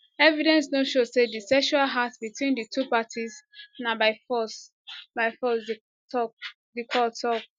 evidence no show say di sexual act between di two parties na by force by force di court tok